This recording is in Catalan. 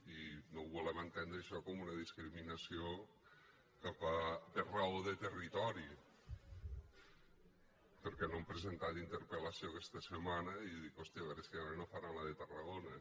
i no ho volem entendre això com una discriminació per raó de territori perquè no han presentat interpel·lació aquesta setmana i dic hòstia a veure si ara no faran la de tarragona